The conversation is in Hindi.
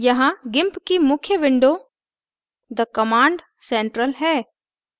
यहाँ gimp की मुख्य window the command central है